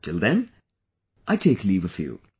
Till then I take leave of you